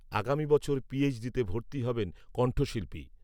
আগামী বছর পিএইচডিতে ভর্তি হবেন কণ্ঠশিল্পী